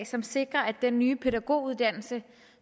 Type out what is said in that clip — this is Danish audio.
som sikrer at den nye pædagoguddannelse